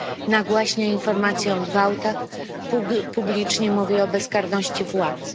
Nagłaśnia informacje o gwałtach. Publicznie mówi o bezkarności władz.